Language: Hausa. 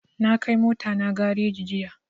Na kai mota na gareji jiya